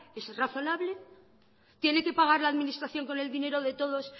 es razonable tiene que pagar la administración con el dinero de todos